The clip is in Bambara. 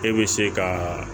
E bɛ se ka